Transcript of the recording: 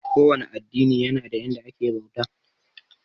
Ko wane addini yana da yanda ake bauta.